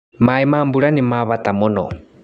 Maĩ ma mbura nĩmabata mũno.